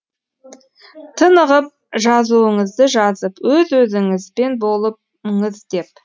тынығып жазуыңызды жазып өз өзіңізбен болып деп